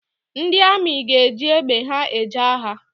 Ndị amị ga-eji egbe ha eje agha